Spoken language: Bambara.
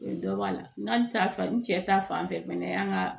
Dɔ b'a la n k'a ta fan n cɛ ta fan fɛ yan ka